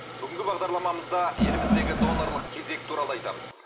бүгінгі бағдарламамызда еліміздегі донорлық кезек туралы айтамыз